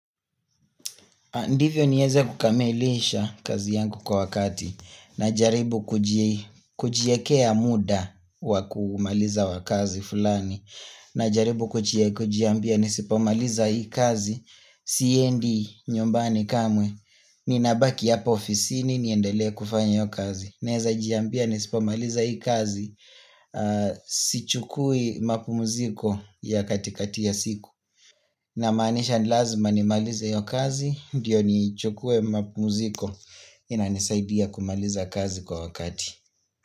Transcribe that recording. Ndivyo nieze kukamilisha kazi yangu kwa wakati najaribu kujiekea muda wakumaliza wakazi fulani na jaribu kujiambia nisipomaliza hii kazi siendi nyumbani kamwe ni nabaki hapa ofisini niendelea kufanya hio kazi Naweza jiambia nisipomaliza hii kazi si chukui mapumuziko ya katikati ya siku na maanisha ni lazima nimalize hiyo kazi, ndiyo nichukue mapumziko inanisaidia kumaliza kazi kwa wakati.